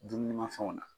Dumunimafɛnw na